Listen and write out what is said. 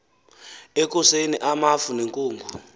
ekuseni amafu nenkungu